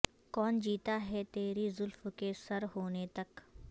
کون جیتا ہے تری زلف کے سر ہونے تک